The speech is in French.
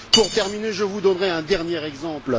Pour terminer, je vous donnerai un dernier exemple.